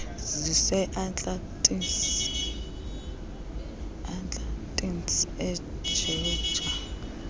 zise atlantis egeorge